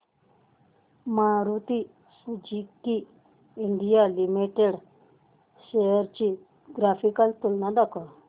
Maruti Suzuki India limited shares ची graphical तुलना दाखव